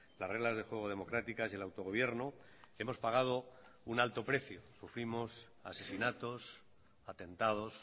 las reglas de juego democráticas y el autogobierno hemos pagado un alto precio sufrimos asesinatos atentados